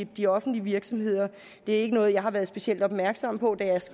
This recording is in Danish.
de offentlige virksomheder det er ikke noget jeg har været specielt opmærksom på da jeg